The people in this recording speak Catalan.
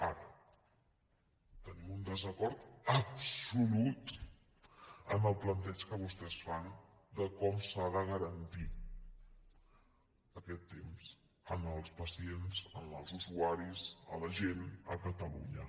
ara tenim un desacord absolut amb el planteig que vostès fan de com s’ha de garantir aquest temps als pacients als usuaris a la gent a catalunya